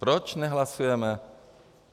Proč nehlasujeme?